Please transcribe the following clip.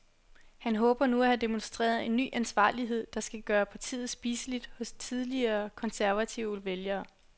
Han håber nu at have demonstreret en ny ansvarlighed, der skal gøre partiet spiseligt hos tidligere konservative vælgere.